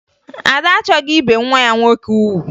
Ada achọghị ibe nwa ya nwoke ugwu